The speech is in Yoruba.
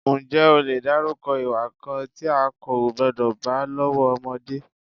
Ǹjẹ́ o lè dárúkọ ìwà kan tí a kò gbọ́dọ̀ bá lọ́wọ́ ọmọdé?